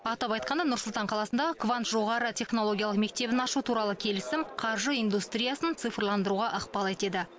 атап айтқанда нұр сұлтан қаласында квант жоғары технологиялық мектебін ашу туралы келісім қаржы индустриясын цифрландыруға ықпал етеді